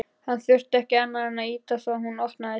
Hann þurfti ekki annað en ýta á svo hún opnaðist.